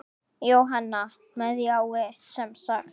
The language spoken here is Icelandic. Jóhanna: Með jái, semsagt?